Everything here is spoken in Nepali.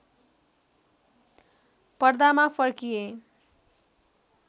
पर्दामा फर्किए